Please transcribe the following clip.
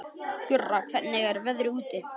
Gurra, hvernig er veðrið úti?